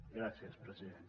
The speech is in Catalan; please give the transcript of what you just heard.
gràcies president